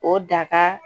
O daka